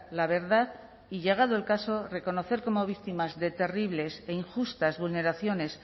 la verdad y llegado el caso reconocer como víctimas de terribles e injustas vulneraciones